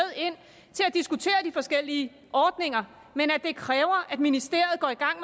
diskutere de forskellige ordninger men det kræver at ministeriet går i gang